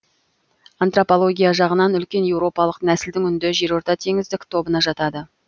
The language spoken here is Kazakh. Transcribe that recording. антропология жағынан үлкен еуропалық нәсілдің үнді жерортатеңіздік тобына жатады